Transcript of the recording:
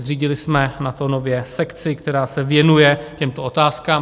Zřídili jsme na to nově sekci, která se věnuje těmto otázkám.